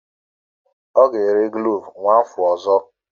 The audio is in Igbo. Ọ ga-ere klovu n'afọ ọzọ.